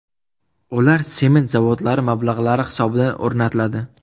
Ular sement zavodlari mablag‘lari hisobidan o‘rnatiladi.